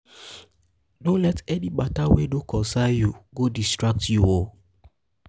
no let any mata wey no concern yu go distract yu o